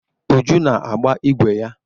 Uju na-agba ịgwe ya.